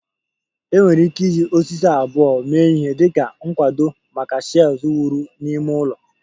Enwere ike iji osisi abụọ mee ihe dị ka nkwado maka shelves wuru n'ime ụlọ